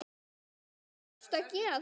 Hvað varstu að gera þar?